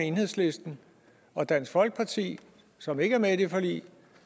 enhedslisten og dansk folkeparti som ikke er med i det forlig